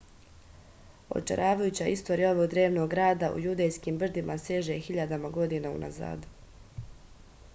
očaravajuća istorija ovog drevnog grada u judejskim brdima seže hiljadama godina unazad